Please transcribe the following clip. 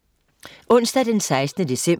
Onsdag den 16. december